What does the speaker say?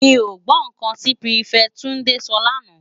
Mi ó gbò n kán ti pirifèti Tunde sò lànâ